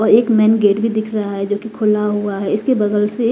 और एक main gate भी दिख रहा है जो की खुला हुआ है। इसके बगल से एक--